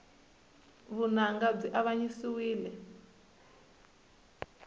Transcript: vunanga byi avanyisiwile